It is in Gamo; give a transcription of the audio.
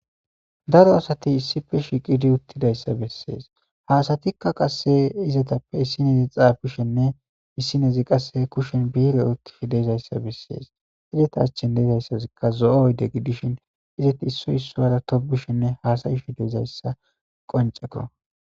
daro asati issife shiqidi uttidayssa bessees haasatikka qasse izetappe issinezi xaabishenne issinezi qasse kushen biire oykifi deezayssa bessees izeta achchen deezayssazikka zo7o oyde gidishin izeti issoy issuara tobishenne haasayhideizayssa qonceko